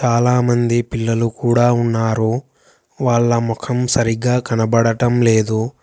చాలామంది పిల్లలు కూడా ఉన్నారు వాళ్ళ ముఖం సరిగ్గా కనబడటం లేదు.